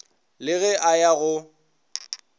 le ge a ya go